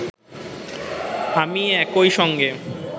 আমি একই সঙ্গে